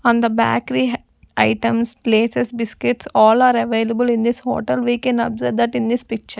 On the bakery hai items laces biscuits all are available in this hotel. We can observe that in this picture.